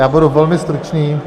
Já budu velmi stručný.